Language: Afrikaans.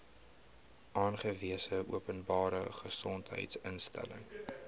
aangewese openbare gesondheidsinstelling